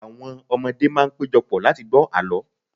awọn ọmọdé ma n pejọ pọ̀ láti gbọ àlọ